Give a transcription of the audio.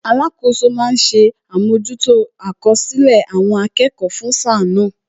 Alakoso ma ń ṣe àmójútó àkọsílẹ̀ àwọn akẹ́kọ̀ọ́ fún sáà náà